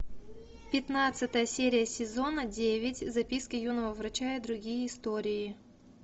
пятнадцатая серия сезона девять записки юного врача и другие истории